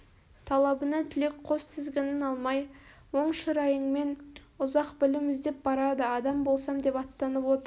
талабына тілек қос тізгінін алмай оң шырайыңмен ұзақ білім іздеп барады адам болсам деп аттанып отыр